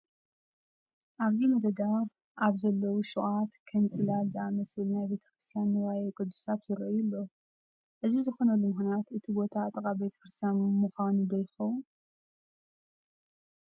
ኣብዚ መደዳ ኣብ ዘለዉ ሹቓት ከም ፅላል ዝኣምሰሉ ናይ ቤተ ክርስቲያን ንዋየ ቅድሳት ይርአዩ ኣለዉ፡፡ እዚ ዝኾነሉ ምኽንያት እቲ ቦታ ጥቓ ቤተ ክርስቲያን ብምዃኑ ዶ ይኸውን?